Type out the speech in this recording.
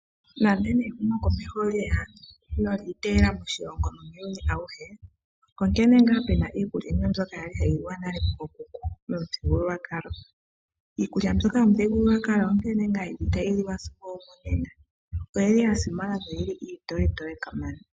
Nando ehumokomeho olyeya nenge lyiiteyela moshilongo nuuyuni awuhe . Onkene ngaa pena iikulya yimwe mbyoka kwali hayi liwa nale kookuku momuthigululwakalo. Iikulya mbyoka yomuthigululwakalo onkene ngaa yeli tayi liwa sigo omonena oyili yasimana noyili itoye toye kamana.